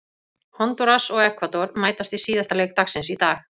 Hondúras og Ekvador mætast í síðasta leik dagsins í dag.